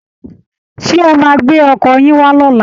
Ṣé ẹ máa gbé ọkọ̀ yín wá lọ́la?